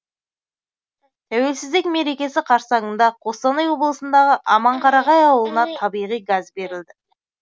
тәуелсіздік мерекесі қарсаңында қостанай облысындағы аманқарағай ауылына табиғи газ берілді